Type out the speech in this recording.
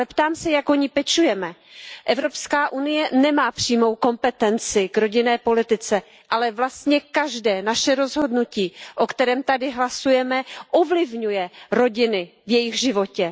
Ale ptám se Jak o ni pečujeme? Evropská unie nemá přímou kompetenci k rodinné politice, ale vlastně každé naše rozhodnutí, o kterém tady hlasujeme, ovlivňuje rodiny v jejich životě.